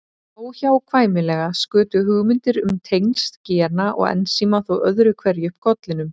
Óhjákvæmilega skutu hugmyndir um tengsl gena og ensíma þó öðru hverju upp kollinum.